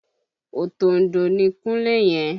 Òtòǹdò ni Kunle yẹn